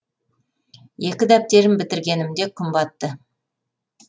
екі дәптерін бітіргенімде күн батты